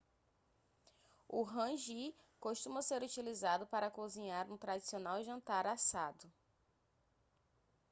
o hangi costuma ser utilizado para cozinhar um tradicional jantar assado